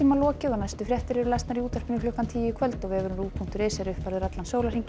lokið næstu fréttir eru í útvarpinu klukkan tíu í kvöld og vefurinn punktur is er uppfærður allan sólarhringinn